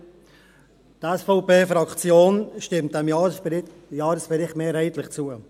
Die SVP-Fraktion stimmt diesem Jahresbericht mehrheitlich zu.